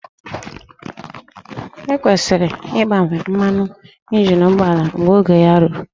E kwesịrị ịgbanwe mmanụ injin ụgbọala mgbe oge ya ruru